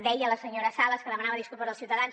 deia la senyora sales que demanava disculpes als ciutadans